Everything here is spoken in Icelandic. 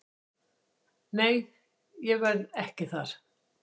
Nei ég verð ekki þar.